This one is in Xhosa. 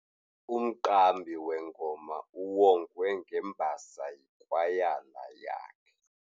Umqambi wengoma uwongwe ngembasa yikwayala yakhe.